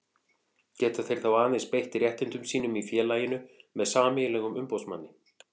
Geta þeir þá aðeins beitt réttindum sínum í félaginu með sameiginlegum umboðsmanni.